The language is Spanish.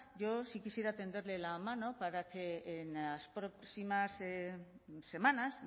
yo sí quisiera tenderle la mano para que en las próximas semanas